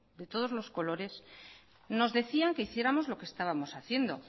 de todos los colores nos decían que hiciéramos lo que estábamos haciendo